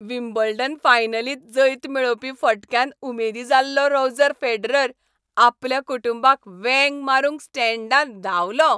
Wimbledon फायनलींत जैत मेळोवपी फटक्यान उमेदी जाल्लो रॉजर फेडरर आपल्या कुटुंबाक वेंग मारूंक स्टँडांत धांवलो.